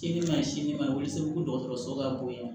Sini ma sini ma o bɛ se fo dɔgɔtɔrɔso ka bɔ yen